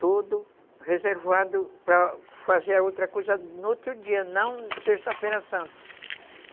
Todo reservado para fazer outra coisa no outro dia, não sexta-feira santa.